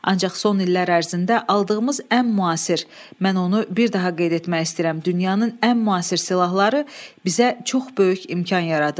Ancaq son illər ərzində aldığımız ən müasir, mən onu bir daha qeyd etmək istəyirəm, dünyanın ən müasir silahları bizə çox böyük imkan yaradır.